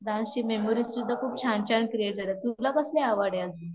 Dance ची memories सुद्धा खूप छान छान क्रिएटेड आहे तुला कसली आवड आहे अजून?